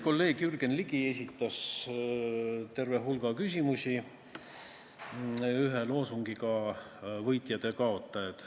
Kolleeg Jürgen Ligi esitas terve hulga küsimusi, kõik ühe loosungi all: võitjad ja kaotajad.